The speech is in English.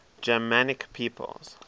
germanic peoples